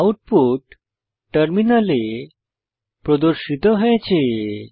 output টার্মিনালে প্রদর্শিত হয়েছে